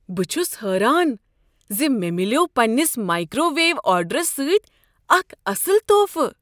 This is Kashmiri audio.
بہٕ چھس حٲران ز مےٚ ملیوٚو پنٛنس مایکروویو آرڈرس سۭتۍ اکھ اصٕل تحفہٕ۔